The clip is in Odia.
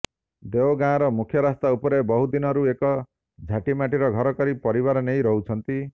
ଦେଓଗାଁର ମୁଖ୍ୟରାସ୍ତା ଉପରେ ବହୁଦିନରୁ ଏକ ଝାଟିମାଟିର ଘର କରି ପରିବାର ନେଇ ରହୁଛନ୍ତି